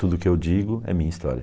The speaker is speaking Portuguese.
Tudo que eu digo é minha história.